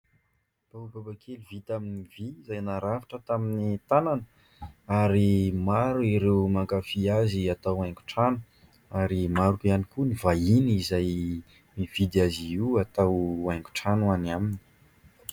Baobab kely vita amin'ny vy izay narafitra tamin'ny tanana ary maro ireo mankafy azy atao haingo trano ary maro ihany koa ny vahiny izay mividy azy io atao haingo trano any aminy.